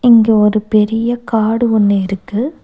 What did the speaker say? இங்க ஒரு பெரிய காடு ஒன்னு இருக்கு.